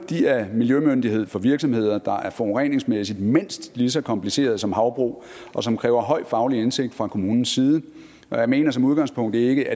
er miljømyndighed for virksomheder der forureningsmæssigt er mindst lige så komplicerede som havbrug og som kræver høj faglig indsigt fra kommunens side og jeg mener som udgangspunkt ikke